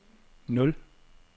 nul